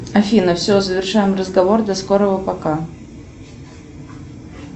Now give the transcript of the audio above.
афина все завершаем разговор до скорого пока